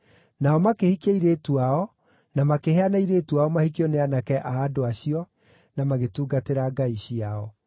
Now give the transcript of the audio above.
Nao makĩhikia airĩtu ao, na makĩheana airĩtu ao mahikio nĩ aanake a andũ acio, na magĩtungatĩra ngai ciao.